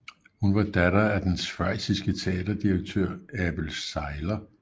Hun var datter af den schweiziske teaterdirektør Abel Seyler